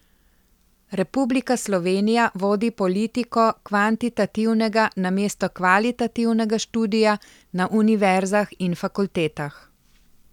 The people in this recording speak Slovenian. Republika Slovenija vodi politiko kvantitativnega namesto kvalitativnega študija na univerzah in fakultetah.